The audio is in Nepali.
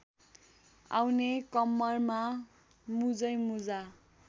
आउने कम्मरमा मुजैमुजा